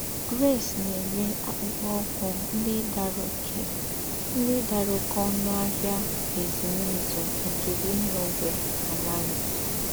Grace nà-éré àkụ́pụ́kpọ́ úkwù ndí́ dàrá óké ndí́ dàrá óké ònù n’Áhịà Ézùmézù nké Lilongwe, Malawi.